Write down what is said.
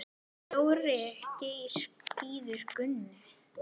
Dóri Geir bíður Gunnu.